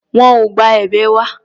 Wọn ò gba èbè wa.